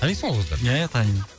танисың ғой ол қыздарды ия ия танимын